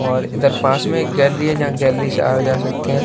और इधर पास में एक गैलरी है जहां गैलरी से आ जा सकते हैं।